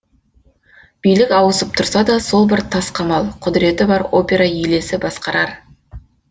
билік ауысып тұрса да сол бір тас қамал құдіреті бар опера елесі басқарар